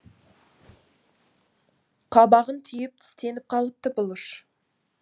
қабағын түйіп тістеніп қалыпты бұлыш